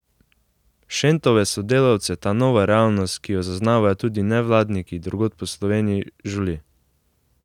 Šentove sodelavce ta nova realnost, ki jo zaznavajo tudi nevladniki drugod po Sloveniji, žuli.